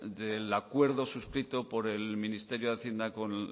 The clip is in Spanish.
del acuerdo suscrito por el ministerio de hacienda con